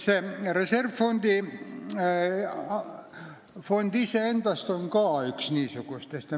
See reservfond on ka üks niisugustest.